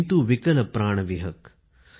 किंतु विकल प्राण विहग